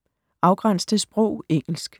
Afgræns til sprog: engelsk